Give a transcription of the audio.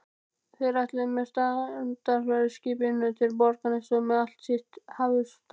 Þeir ætluðu með strandferðaskipinu til Borgarness með allt sitt hafurtask.